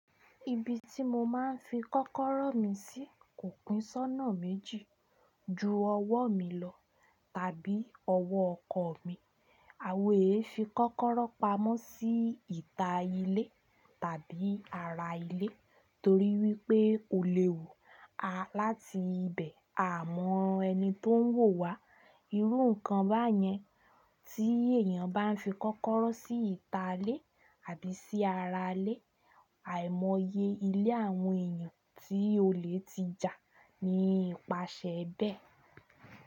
Ibi tí mo máa ń fi kọ́kọ́rọ́ mi sí kò pín sónà méjì ju ọwọ́ mi lọ tàbí ọwọ́ ọkọ̀ mi. Àwó èéfín kọ́kọ́rọ́ pamọ́ sí ìta ilé tàbí ara ilé torí wípé ò léwu láti ibẹ̀ à mọ ẹni tó ń wò wá. Irú nǹkan báyẹn tí èèyàn bá ń fi kọ́kọ́rọ́ sí ìta ilé àbí sí ara ilé, àìmọye ilé àwọn èèyàn tí olè ti jà ni ìpàṣẹ bẹ́ẹ̀